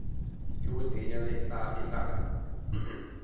bjo boteenyana e tla re